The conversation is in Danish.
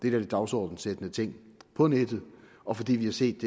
er de dagsordensættende ting på nettet og fordi vi har set